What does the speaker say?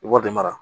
I b'o de mara